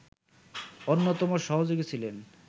অন্যতম সহযোগী ছিলেন